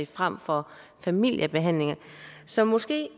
frem for familiebehandlinger så måske